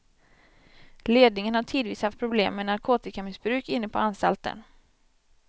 Ledningen har tidvis haft problem med narkotikamissbruk inne på anstalten.